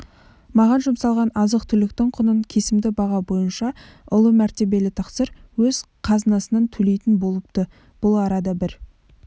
маған жұмсалған азық-түліктің құнын кесімді баға бойынша ұлы мәртебелі тақсыр өз қазынасынан төлейтін болыпты бұл арада бір